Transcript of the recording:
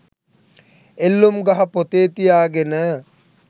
එල්ලුම් ගහ පොතේ තියාගෙන